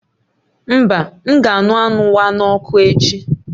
Mba, m ga-aṅụ anụ wa n'ọkụ echi